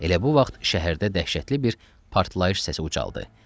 Elə bu vaxt şəhərdə dəhşətli bir partlayış səsi ucaldı.